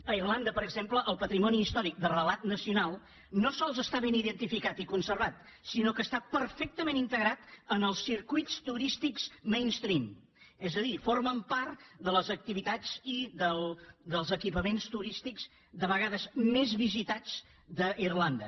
a irlanda per exemple el patrimoni històric de relat nacional no sols està ben identificat i conservat sinó que està perfectament integrat en els circuits turístics mainstream és a dir formen part de les activitats i dels equipaments turístics de vegades més visitats d’irlanda